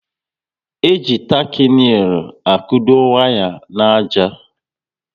E ji taki neil akudo waya n'àjà